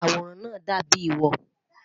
Awòràn naa dàbíi wọ̀.